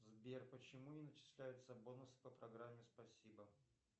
сбер почему не начисляются бонусы по программе спасибо